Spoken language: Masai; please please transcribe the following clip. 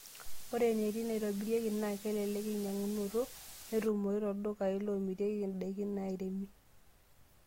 Ore eneti naaitobirieki naa kelelek enkinyiang'unoto netumoyu tooldukai loomirieki ndaikin nairemi.